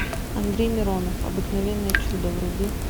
андрей миронов обыкновенное чудо вруби